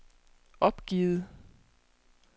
opgivet